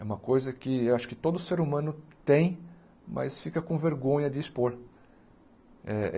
É uma coisa que acho que todo ser humano tem, mas fica com vergonha de expor.